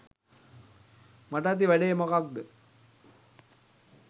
මට ඇති වැඩේ මොකක්‌ද?